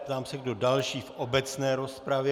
Ptám se, kdo další v obecné rozpravě.